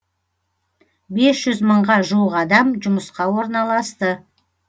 бес жүз мыңға жуық адам жұмысқа орналасты